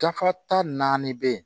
Dafa ta naani bɛ yen